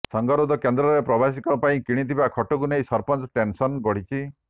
ସଙ୍ଗରୋଧ କେନ୍ଦ୍ରରେ ପ୍ରବାସୀଙ୍କ ପାଇଁ କିଣିଥିବା ଖଟକୁ ନେଇ ସରପଞ୍ଚଙ୍କ ଟେନସନ ବଢିଛି